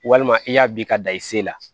Walima i y'a bin ka dan i se la